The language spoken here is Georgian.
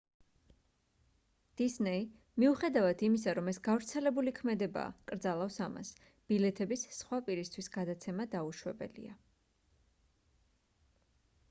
დისნეი მიუხედავად იმისა რომ ეს გავრცელებული ქმედებაა კრძალავს ამას ბილეთების სხვა პირისთვის გადაცემა დაუშვებელია